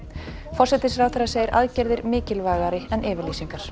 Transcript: forsætisráðherra segir aðgerðir mikilvægari en yfirlýsingar